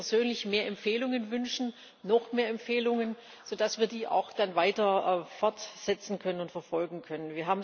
Ich würde mir persönlich mehr Empfehlungen wünschen, noch mehr Empfehlungen, so dass wir die auch dann weiter fortsetzen und verfolgen können.